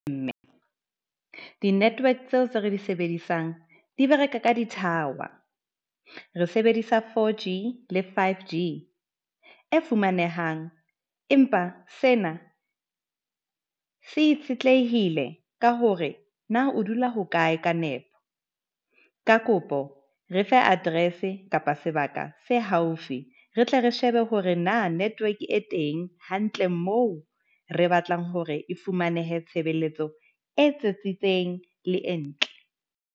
Mme di network tseo tse re di sebedisang, di bereka ka dithawa. Re sebedisa 4G le 5G e fumanehang, empa sena se itshetlehile ka hore na o dula hokae ka nepo. Ka kopo re fe address-e kapa sebaka se haufi, re tle re shebe hore na network e teng, hantle moo re batlang hore e fumanehe tshebeletso e tsitsitseng le e ntle.